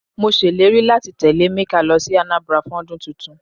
Mọ sé ìlérí láti tẹ́lẹ̀ Emeka lọ sí Anambra fún ọdún tuntun.